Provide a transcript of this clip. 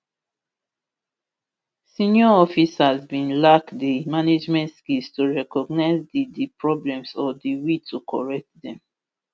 senior officers bin lack di management skills to recognise di di problems or di will to correct dem